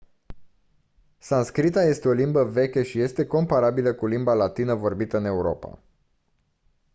sanscrita este o limbă veche și este comparabilă cu limba latină vorbită în europa